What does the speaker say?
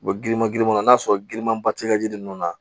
U bɛ girinman girinmanw n'a sɔrɔ girimanba tɛ ka ji ninnu na